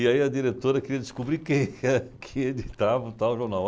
E aí a diretora queria descobrir quem é que editava o tal jornal.